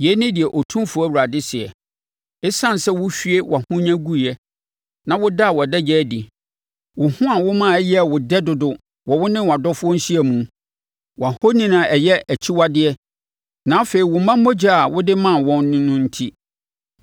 Yei ne deɛ Otumfoɔ Awurade seɛ. Esiane sɛ wohwie wʼahonya guiɛ na wodaa wʼadagya adi, wo ho a woma ɛyɛɛ wo dɛ dodo wɔ wo ne wʼadɔfoɔ nhyiamu, wʼahoni a ɛyɛ akyiwadeɛ na afei wo mma mogya a wode maa wɔn no enti,